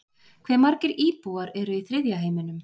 hve margir íbúar eru í þriðja heiminum